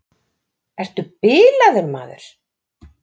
Ertu bilaður, maður!